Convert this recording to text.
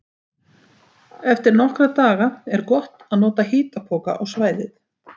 Eftir nokkra daga er gott að nota hitapoka á svæðið.